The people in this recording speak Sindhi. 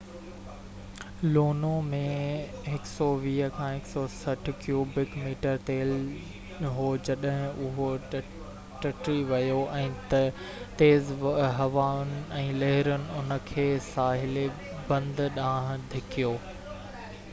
لونو ۾ 120–160 ڪيوبڪ ميٽر تيل هو جڏهن اهو ٽٽي ويو ۽ تيز هوائن ۽ لهرن ان کي ساحلي بند ڏانهن ڌڪيو